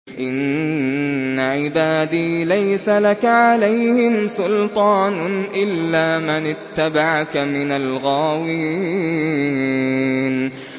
إِنَّ عِبَادِي لَيْسَ لَكَ عَلَيْهِمْ سُلْطَانٌ إِلَّا مَنِ اتَّبَعَكَ مِنَ الْغَاوِينَ